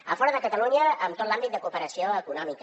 a fora de catalunya en tot l’àmbit de cooperació econòmica